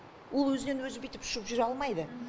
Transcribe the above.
ол өзінен өзі бүйтіп ұшып жүре алмайды